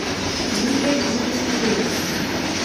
лия елисеева